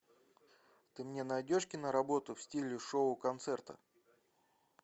ты мне найдешь киноработу в стиле шоу концерта